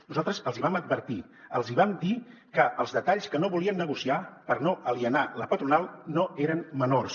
nosaltres els hi vam advertir els hi vam dir que els detalls que no volien negociar per no alienar la patronal no eren menors